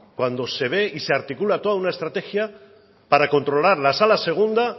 cuando se ve y se articula toda una estrategia para controlar la sala segunda